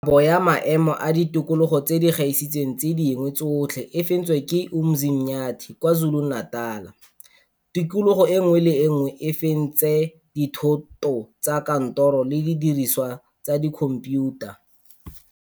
Kabo ya Maemo a Ditikogolo tse di Gaisitseng tse Dingwe Tsotlhe e fentswe ke Umzinyathi, KwaZuluNatal. Tikologo e nngwe le e nngwe e fentse dithoto tsa kantoro le didirisiwa tsa dikhomphiutha.